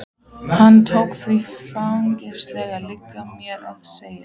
Hann tók því feginsamlega, liggur mér við að segja.